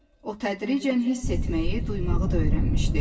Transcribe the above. O tədricən hiss etməyi, duymağı da öyrənmişdi.